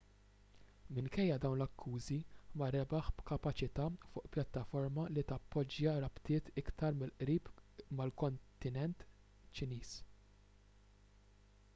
minkejja dawn l-akkużi ma rebaħ b'kapaċità fuq pjattaforma li tappoġġja rabtiet iktar mill-qrib mal-kontinent ċiniż